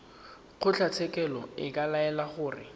kgotlatshekelo e ka laela gore